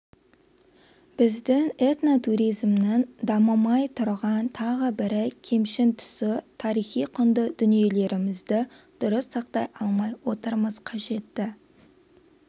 біздің этнотуризмнің дамымай тұрған тағы бірі кемшін тұсы тарихи құнды дүниелерімізді дұрыс сақтай алмай отырмыз қажетті